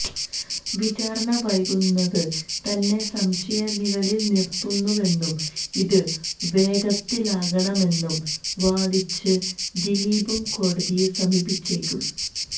വിചാരണ വൈകുന്നത് തന്നെ സംശയനിഴലില് നിര്ത്തുന്നുവെന്നും ഇത് വേഗത്തിലാക്കണമെന്നും വാദിച്ച് ദിലീപും കോടതിയെ സമീപിച്ചേക്കും